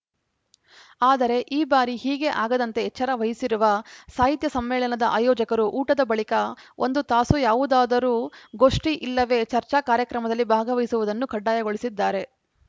ಆದರೆ ಈ ಬಾರಿ ಹೀಗೆ ಆಗದಂತೆ ಎಚ್ಚರ ವಹಿಸಿರುವ ಸಾಹಿತ್ಯ ಸಮ್ಮೇಳದ ಆಯೋಜಕರು ಊಟದ ಬಳಿಕ ಒಂದು ತಾಸು ಯಾವುದಾದರೂ ಗೋಷ್ಠಿ ಇಲ್ಲವೇ ಚರ್ಚಾ ಕಾರ್ಯಕ್ರಮದಲ್ಲಿ ಭಾಗವಹಿಸುವುದನ್ನು ಕಡ್ಡಾಯಗೊಳಿಸಿದ್ದಾರೆ